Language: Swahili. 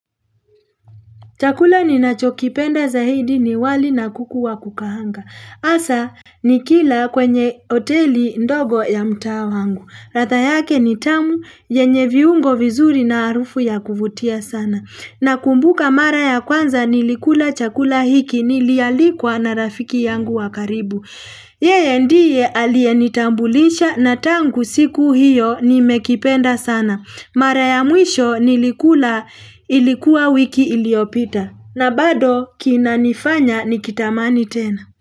Chakula ni nacho kipenda zaidi ni wali na kukuwa kukahanga. Asa ni kila kwenye hoteli ndogo ya mtaa wangu. Ratha yake ni tamu yenye viungo vizuri na arufu ya kuvutia sana. Na kumbuka mara ya kwanza nilikula chakula hiki nilialikwa na rafiki yangu wakaribu. Yeye ndiye alye nitambulisha na tangu siku hiyo ni mekipenda sana. Mara ya mwisho nilikula ilikuwa wiki iliyopita na bado kina nifanya nikitamani tena.